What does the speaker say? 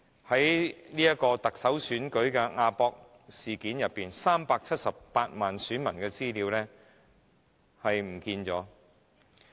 在特首選舉的"亞博事件"中，有關378萬個選民的資料遺失了。